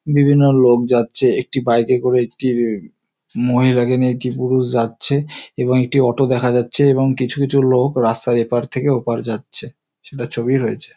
বিভিন্ন লোক যাচ্ছে। একটি বাইক -এ করে একটি মহিলাকে নিয়ে একটি পুরুষ যাচ্ছে এবং একটি অটো দেখা যাচ্ছে এবং কিছু কিছু লোক রাস্তার এপার থেকে ওপার যাচ্ছে। সেটার ছবিই রয়েছে।